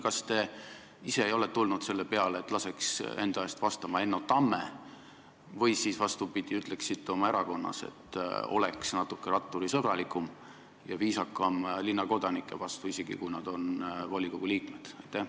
Kas te ise ei ole tulnud selle peale, et laseks Enno Tammel enda eest vastata, või vastupidi, ütleksite oma erakonnale, et nad oleksid natuke ratturisõbralikumad ja viisakamad linnakodanike vastu, isegi kui nad on volikogu liikmed?